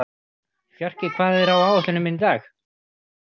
Fjarki, hvað er á áætluninni minni í dag?